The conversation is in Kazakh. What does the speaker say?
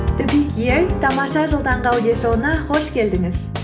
тамаша жыл таңғы аудиошоуына қош келдіңіз